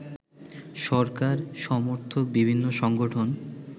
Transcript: সরকার সমর্থক বিভিন্ন সংগঠন